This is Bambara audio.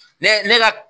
Ne ne ka